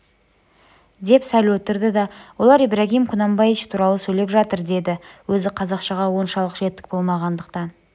деп сәл отырды да олар ибрагим кунанбаич туралы сөйлеп жатыр деді өзі қазақшаға оншалық жетік болмағандықтан